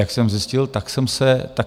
Jak jsem zjistil, tak jsem se mýlil.